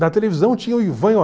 Na televisão tinha o